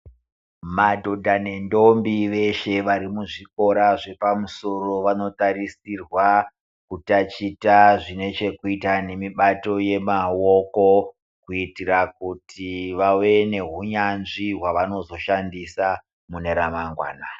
Madhodha nendombi veshe vari muzvikora zvepamusoro vanotarisirwa kutachita zvekuita nemibato yemaoko. Kuitira kuti vave nehunyanzvi hwavanozoshandisa mune ramangwana.